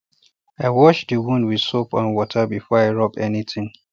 i wash the wound with soap and water before i rub anything